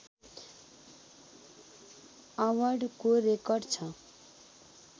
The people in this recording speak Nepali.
अवार्डको रेकर्ड छ